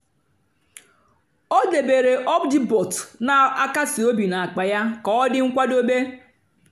ó débééré óbjíbòt nà-àkásí óbí n'ákpá yá kà ọ́ dị́ nkwádobé.